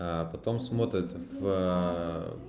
а потом смотрит в